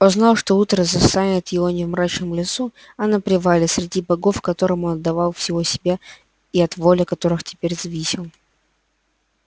он знал что утро застанет его не в мрачном лесу а на привале среди богов которым он отдавал всего себя и от воли которых теперь зависел